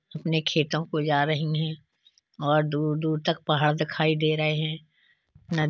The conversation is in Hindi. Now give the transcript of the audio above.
अपने खेतों को जा रही हैं और दूर-दूर तक पहाड़ दिखाई दे रहे हैं नदी --